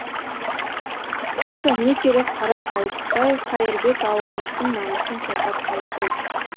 қысқасы не керек қара қайыстай қайырбек ауылымыздың намысын қорғап қалды ғой